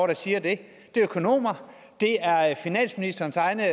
der siger det det er økonomer det er er finansministerens egne